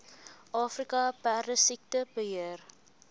afrika perdesiekte beheer